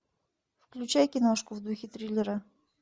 включай киношку в духе триллера